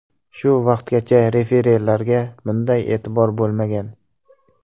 Shu vaqtgacha referilarga bunday e’tibor bo‘lmagan.